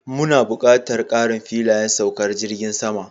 Muna buƙatar ƙarin filayen saukar jirgin sama